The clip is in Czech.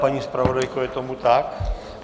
Paní zpravodajko, je tomu tak?